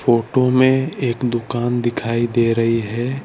Photo में एक दुकान दिखाई दे रही है।